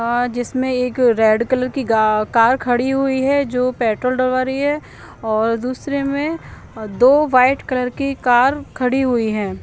हाँ जिसमे एक रेड कलर की गा कार खड़ी हुई है जो पेट्रोल डलवा रही है दो वाइट कलर की कार खड़ी हुई है।